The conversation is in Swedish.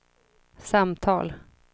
samtal